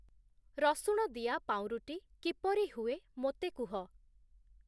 ରସୁଣ ଦିଆ ପାଉଁରୁଟି କିପରି ହୁଏ ମୋତେ କୁହ।